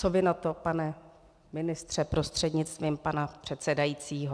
- Co vy na to, pane ministře prostřednictvím pana předsedajícího?